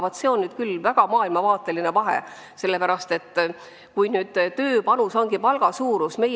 Vaat see on tõesti hoopis teistsugune maailmavaade, kui tööpanust arvestatakse üksnes palga suuruse järgi.